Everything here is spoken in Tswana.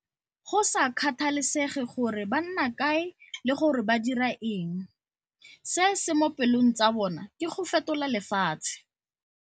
Go sa kgathalesege gore ba nna kae le gore ba dira eng, se se mo pelong tsa bona ke go fetola lefatshe.